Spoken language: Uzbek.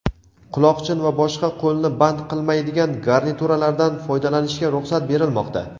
quloqchin va boshqa qo‘lni band qilmaydigan garnituralardan foydalanishga ruxsat berilmoqda.